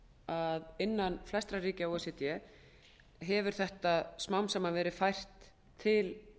að innan flestra ríkja o e c d hefur þetta smám saman verið fært til